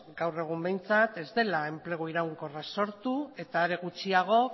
gaur egun behintzat ez dela enplegu eraginkorraz sortu eta are gutxiago